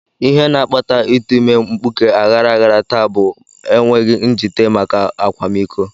Ihe na-akpata ịtụ ime mkpuke aghara aghara taa bụ enweghị njite maka akwamiko